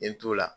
N ye n t'o la